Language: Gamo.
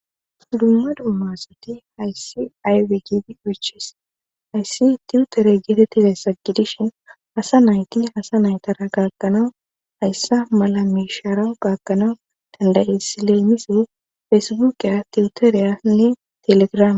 dumma dumma asati hayssi aybe gidi oyches hayssi tiutere geetettiday saggidishin hasa nayti hasa naytara gaakanawu hayssa mala miisharan gaakanawu dandaye sileemise fesibuqeya tiuteriyanne telegraam